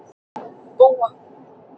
. búa okkur undir það versta.